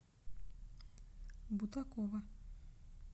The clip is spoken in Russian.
бутакова